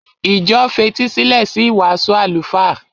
Ìjọ fetísílẹ̀ sí ìwàásù àlùfáà.